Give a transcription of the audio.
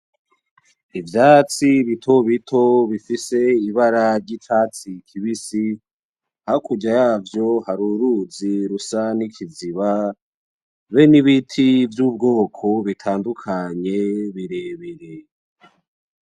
Ivyatsi bitobito bifise ibara ry'icatsi kibisi hakurya yavyo hari uruzi rusa n'ikiziba hamwe n'ibiti vy'ubwoko bitandukanye birebire.